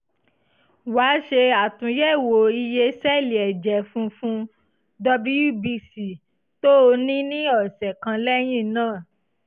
wá ṣe àtúnyẹ̀wò iye sẹ́ẹ̀lì ẹ̀jẹ̀ funfun (wbc) tó o ní ní ọ̀sẹ̀ kan lẹ́yìn náà